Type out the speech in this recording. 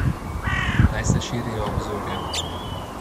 Naj se širijo obzorja.